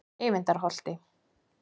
Eyvindarholti